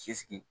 Si sigi